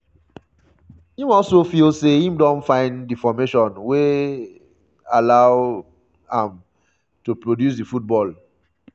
im also feel say im don find di formation wey um allow um am to produce di football